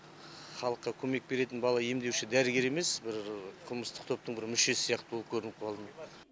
халыққа көмек беретін бала емдеуші дәрігер емес бір қылмыстық топтың бір мүшесі сияқты болып көрініп қалдым